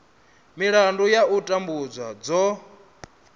milandu ya u tambudzwa dzo